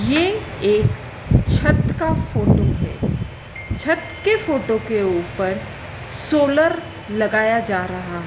ये एक छत का फोटो है छत के फोटो के ऊपर सोलर लगाया जा रहा।